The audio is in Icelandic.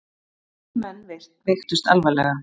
Þrír menn veiktust alvarlega.